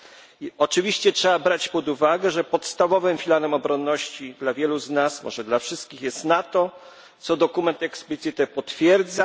I oczywiście trzeba brać pod uwagę, że podstawowym filarem obronności dla wielu z nas może dla wszystkich jest NATO, co dokument explicite potwierdza.